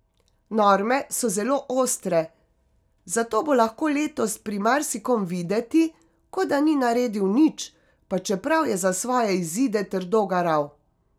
Norme so zelo ostre, zato bo lahko letos pri marsikom videti, kot da ni naredil nič, pa čeprav je za svoje izide trdo garal.